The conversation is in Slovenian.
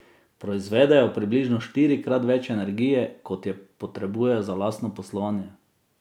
Proizvedejo približno štirikrat več energije, kot je potrebujejo za lastno poslovanje.